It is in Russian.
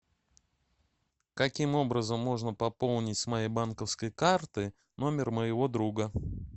каким образом можно пополнить с моей банковской карты номер моего друга